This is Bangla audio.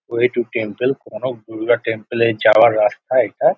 ওয়ে টু টেম্পল কোনো দূর্গা টেম্পল -এ যাওয়ার রাস্তা এটা।